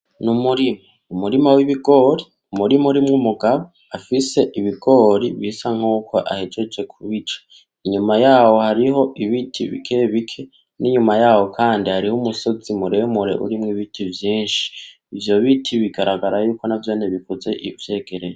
Umurima wibigori, urimwo umugabo afise ibigori bisa nkuko ahejeje kubica. Inyuma yaho hariho ibiti bike bike, n'inyuma yaho kandi hariho umusozi muremure urimwo ibiti vyinshi. Ivyo biti bigaragara yuko navyo bikuze uvyegereye.